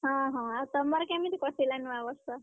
ଆଁ ହଁ ଆଉ ତମର କେମିତି କଟିଲା ନୂଆବର୍ଷ?